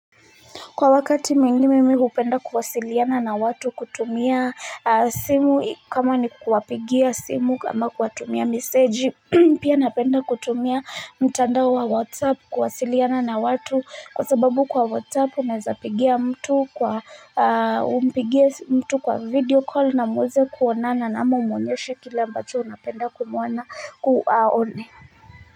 Kwa wakati mingi mimi hupenda kuwasiliana na watu kutumia simu kama ni kuwapigia simu kama kuwatumia meseji pia napenda kutumia mtandao wa WhatsApp kuwasiliana na watu kwa sababu kwa WhatsApp naweza pigia mtu kwa umpigie mtu kwa video call na muweze kuonana na ama umuonyeshe kila ambacho unapenda kumuona kuwaone.